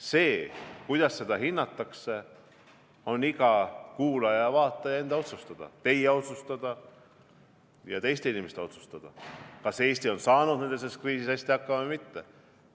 See, kuidas seda hinnatakse, on iga kuulaja-vaataja enda otsustada – teie otsustada ja teiste inimeste otsustada, kas Eesti on saanud selles kriisis hästi hakkama või mitte.